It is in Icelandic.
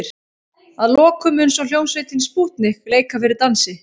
Að lokum mun svo hljómsveitin Spútnik leika fyrir dansi.